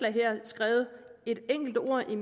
her skrevet et enkelt ord i